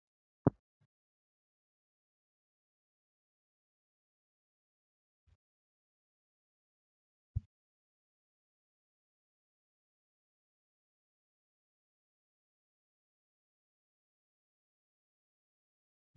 Naannoon uumama keenyaa, biqiloota gosa addaa addaa maqaa isaanii waamnee, beeknee hin fixiin of keessaa qabdi. Biqilaan Kun naannoo keenyatti iddii jedhameetu beekkama. Biqilaan Kun baala isaa irraa waan akka qoraattii ofirraa kan qabudha.